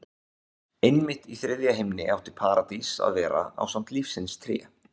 Einmitt í þriðja himni átti Paradís að vera ásamt lífsins tré.